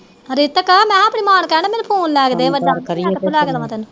ਰਿਤਕ ਮੈ ਕਿਹਾ ਆਪਣੀ ਮਾਂ ਨੂੰ ਕਹਿਣ ਦਿਆ ਮੈਨੂੰ ਫੋਨ ਲੈ ਕੇ ਦੇ ਵੱਡਾ ਕਹਿੰਦੀ ਮੈ ਕਿੱਥੋਂ ਲੈ ਕੇ ਦਵਾ